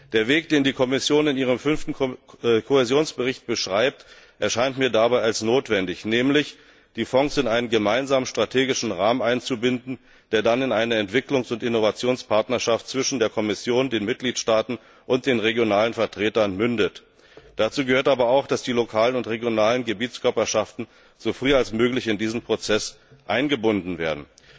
Der Weg, den die Kommission in ihrem Fünften Kohäsionsbericht beschreibt, erscheint mir dabei als notwendig, nämlich die Fonds in einen gemeinsamen strategischen Rahmen einzubinden, der dann in eine Entwicklungs und Innovationspartnerschaft zwischen der Kommission, den Mitgliedstaaten und den regionalen Vertretern mündet. Dazu gehört aber auch, dass die lokalen und regionalen Gebietskörperschaften so früh wie möglich in diesen Prozess eingebunden werden.